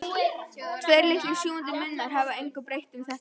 Tveir litlir sjúgandi munnar hafa engu breytt um þetta.